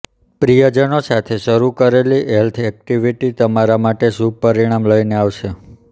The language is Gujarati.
પ્રિયજનો સાથે શરૂ કરેલી હેલ્થ એક્ટિવિટી તમારા માટે શુભ પરિણામ લઈને આવશે